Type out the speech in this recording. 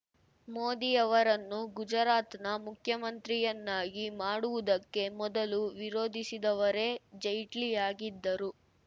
ಮೋದಿಯವರನ್ನು ಗುಜರಾತ್‌ನ ಮುಖ್ಯಮಂತ್ರಿಯನ್ನಾಗಿ ಮಾಡುವುದಕ್ಕೆ ಮೊದಲು ವಿರೋಧಿಸಿದವರೇ ಜೈಟ್ಲಿಯಾಗಿದ್ದರು